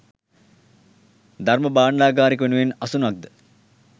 ධර්ම භාණ්ඩාගාරික වෙනුවෙන් අසුනක් ද